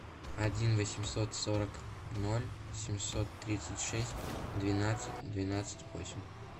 один восемьсот сорок ноль семьсот тридцать шесть двенадцать двенадцать восемь